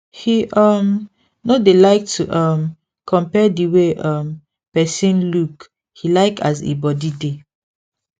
he um no dey like to um compare the way um person look he like as e body dey